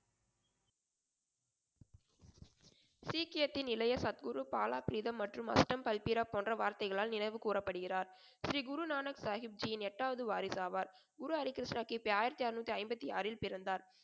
சீக்கியத்தின் இளைய சத்குரு , பாலாபிரீத்தம் , மற்றும் அஷ்டம் பல்பிரம் போன்ற வார்த்தைகளால் நினைவு கூரப்படுகிறார். ஸ்ரீ குருநானக் சாகிப்ஜியின் எட்டாவது வாரிசு ஆவார். குரு ஹரிகிருஷ்ணர் கி. பி. ஆயிரத்தி அருநூத்தி ஐம்பத்தி ஆறில் பிறந்தார்.